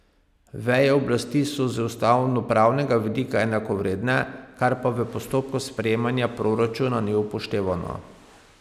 Veje oblasti so z ustavnopravnega vidika enakovredne, kar pa v postopku sprejemanja proračuna ni upoštevano.